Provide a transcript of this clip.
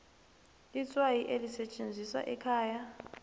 itswayi elisetjenziswa ekhaya